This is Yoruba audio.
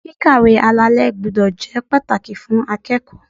Kíkàwé alalé gbúdọ̀ jẹ́ pàtàkì fún akẹ́kọ̀ọ́.